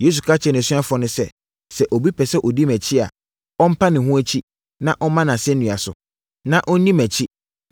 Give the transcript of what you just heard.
Yesu ka kyerɛɛ nʼasuafoɔ no sɛ, “Sɛ obi pɛ sɛ ɔdi mʼakyi a, ɔmpa ne ho akyi, na ɔmma nʼasɛnnua so, na ɔnni mʼakyi.